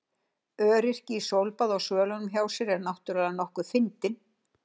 Öryrki í sólbaði á svölunum hjá sér er náttúrlega nokkuð fyndinn.